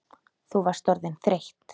Þú varst orðin þreytt.